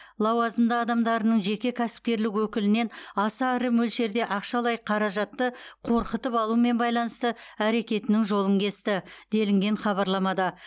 лауазымды адамдарының жеке кәсіпкерлік өкілінен аса ірі мөлшерде ақшалай қаражатты қорқытып алумен байланысты әрекетінің жолын кесті делінген хабарламада